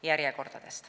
Järjekorrad.